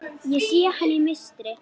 Ég sé hana í mistri.